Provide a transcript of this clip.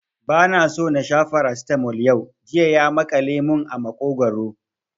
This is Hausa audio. Ba na so na sha Farasitamol yau, jiya ya maƙale mun a maƙogwaro